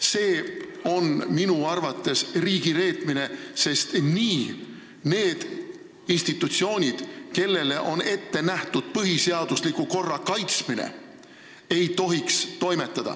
See on minu arvates riigireetmine, sest nii ei tohiks toimetada need institutsioonid, kelle ülesandena on ette nähtud põhiseadusliku korra kaitsmine.